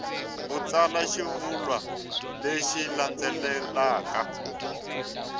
u tsala xivulwa lexi landzelaka